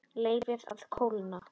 Leyfið að kólna.